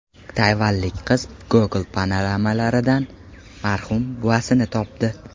Tayvanlik qiz Google panoramalaridan marhum buvasini topdi.